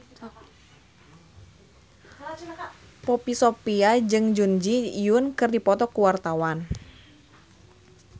Poppy Sovia jeung Jun Ji Hyun keur dipoto ku wartawan